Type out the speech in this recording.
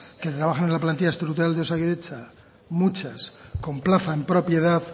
que trabajan en la plantilla estructural de osakidetza muchas con plaza en propiedad